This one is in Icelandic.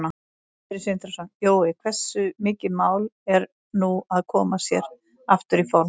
Sindri Sindrason: Jói, hversu mikið mál er nú að koma sér aftur í form?